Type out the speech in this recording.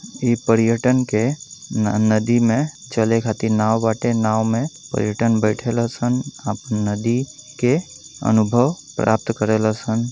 इ परयटन के न नदी में चले खातिर नाव बाटे। नाव में परयटन बेठे लसन। आपन नदी के अनुभव प्राप्त करे ल सन।